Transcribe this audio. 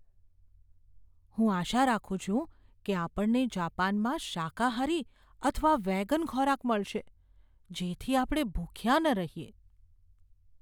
હું આશા રાખું છું કે આપણને જાપાનમાં શાકાહારી અથવા વેગન ખોરાક મળશે, જેથી આપણે ભૂખ્યા ન રહીએ.